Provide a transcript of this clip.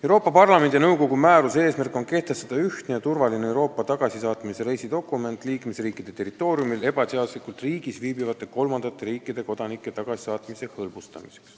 Euroopa Parlamendi ja nõukogu määruse eesmärk on kehtestada ühtne ja turvaline Euroopa tagasisaatmise reisidokument liikmesriikide territooriumil ebaseaduslikult viibivate kolmandate riikide kodanike tagasisaatmise hõlbustamiseks.